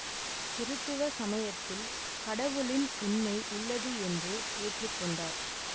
கிறித்தவ சமயத்தில் கடவுளின் உண்மை உள்ளது என்று ஏற்று கொண்டார்